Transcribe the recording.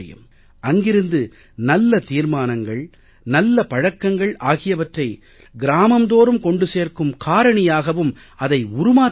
அங்கிருந்து நல்ல தீர்மானங்கள் நல்ல பழக்கங்கள் ஆகியவற்றை கிராமம் தோறும் கொண்டு சேர்க்கும் காரணியாகவும் அதை உருமாற்ற முடியும்